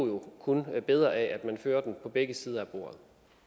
jo kun bedre af at man fører den på begge sider af bordet